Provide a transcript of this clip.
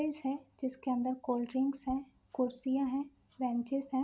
Fridge है जिसके अंदर कोल्ड ड्रिंक्स हैं कुर्सियाँ हैं बेंचेस है।